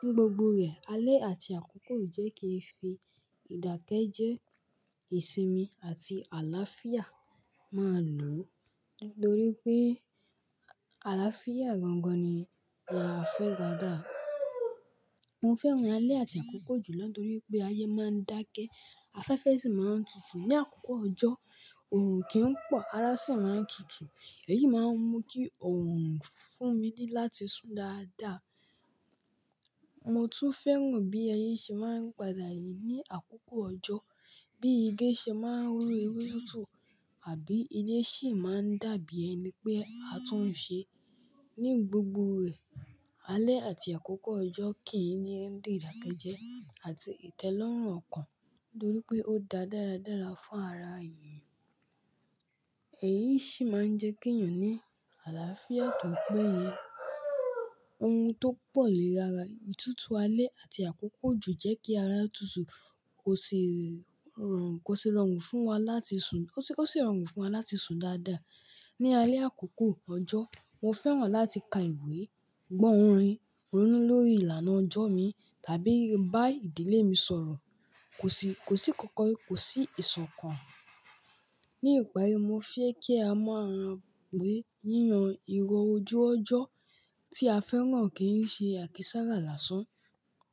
ní gbogbo rẹ̀, alẹ́ àti àkókò ò jẹ́ kí ìdàkejẹ, ìsinmi àti àlàáfíà máa lò. Nítorí pé àlàáfíà gangan ni a fẹ́ dáadáa. Mo fẹ́ràn alẹ́ àti àkókò òjò jùlo nítorí pé ayé máa ń dákẹ́, afẹ́fẹ́ sì máa ń tutù. Ni àkókò ọjọ́, ọ̀ràn o kì n pọ̀, ara sì máa ń tutù. Èyí máa ń mú kí ọ̀ roràn fún mi dí láti sùn dáadáa. Mo tún fẹ́ràn bí ẹyin ṣe máa ń padà yí ní àkókò ọjọ́, bí igi ṣe máa ń rú ewé tútù àbí ilé ṣe máa ń dàbí ẹni pé a tún un ṣe. Ní gbogbo rẹ̀, alẹ́ àti àkókò ọjọ́ kì í ní ìdàkejẹ àti ìtẹ́lọ́rùn ọkàn nítorí pé ó dá dáradára fún ara èèyàn. Èyí sì máa ń jẹ́ kí èèyàn ní àlàáfíà tó péye. Ohun tó pọ̀ ní ara ìtútù alẹ́ àti àkókò òjò jẹ́ kí ara tútù kò sì rọrùn, kò sì rọrùn fún wa láti sùn, ò sì rọrùn fún wa láti sùn dáadáa. Ni alẹ́ àkókò ọjọ́, mo fẹ́ràn láti ka ìwé, gbọ́ orin, ronú lórí ìlànà ọjọ́ mi tàbí bá ìdílé mi sọ̀rọ̀. Kò sí, kò sí kankan, kò sí ìṣàn kan. Ní ìparí, mo fẹ́ kí a mọ àrà wé yíyan irọ̀ ojú ọjọ́ tí a fẹ́ràn kí í ṣe àkísà rà lásán.